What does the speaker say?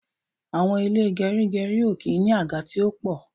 Àwọn ilé gerigeri ó kí n ní àga tí ó po